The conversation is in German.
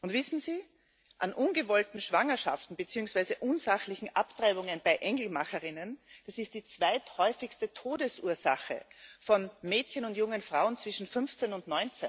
Und wissen Sie Ungewollte Schwangerschaften beziehungsweise unsachliche Abtreibungen bei Engelmacherinnen, das ist die zweithäufigste Todesursache von Mädchen und jungen Frauen zwischen 15 und